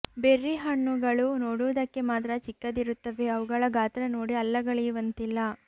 berry ಹಣ್ಣುಗಳು ನೋಡುವುದಕ್ಕೆ ಮಾತ್ರ ಚಿಕ್ಕದಿರುತ್ತವೆ ಅವುಗಳ ಗಾತ್ರ ನೋಡಿ ಅಲ್ಲಗಳೆಯುವಂತಿಲ್ಲ